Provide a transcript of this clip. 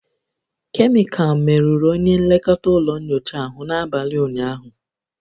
Kemịkalụ merụrụ onye nlekọta ụlọ nyocha ahụ n'abalị ụnyaahụ